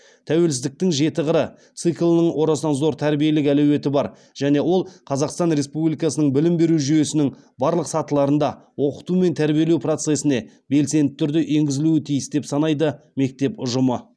тәуелсіздіктің жеті қыры циклінің орасан зор тәрбиелік әлеуеті бар және ол қазақстан республикасының білім беру жүйесінің барлық сатыларында оқыту мен тәрбиелеу процесіне белсенді түрде енгізілуі тиіс деп санайды мектеп ұжымы